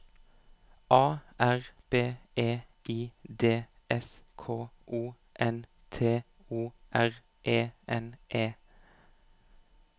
A R B E I D S K O N T O R E N E